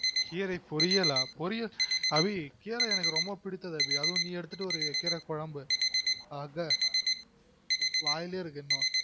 கீரை பொறியலா அபி கீர எனக்கு ரொம்ப பிடித்தது அபி ஆதுவும் நீ எடுத்துட்டு வருவிய கீர குழம்பு அஹ வாயிலே இருக்கு இன்னும்